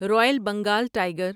Royal Bengal tiger